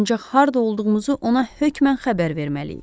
Ancaq harda olduğumuzu ona hökmən xəbər verməliyik.